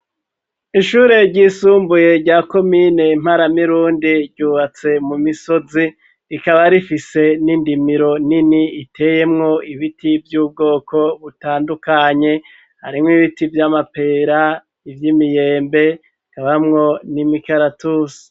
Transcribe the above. Ishure ry'isumbuye rya komine mparamirundi ryubatse mu misozi rikaba rifise n'indimiro nini iteyemwo ibiti vy'ubwoko butandukanye harimwo ibiti vy'amapera ivyi miyembe kabamwo n'imikaratusi